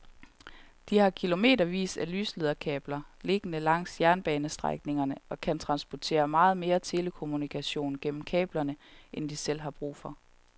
De har kilometervis af lyslederkabler liggende langs jernbanestrækningerne og kan transportere meget mere telekommunikation gennem kablerne end de selv har brug for.